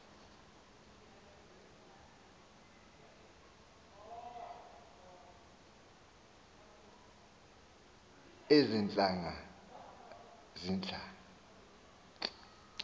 ezi ntlanga zihla